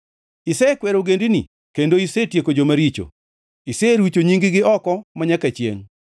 Isekwero ogendini kendo isetieko joma richo; iserucho nying-gi oko manyaka chiengʼ.